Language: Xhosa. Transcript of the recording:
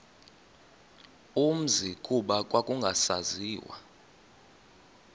umzi kuba kwakungasaziwa